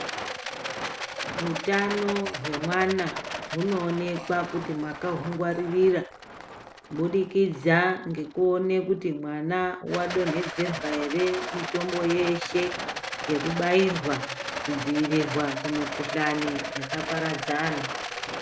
Hutano hwemwana hunoonekwa kuti makahungwaririra kubudikidza ngekuone kuti mwana wadonhedzerwa ere mitombo yeshe nekubairwa kudziirirwa kumikuhlani yakaparadzana.